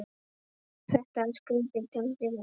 Þetta er skrýtið Tengdi minn.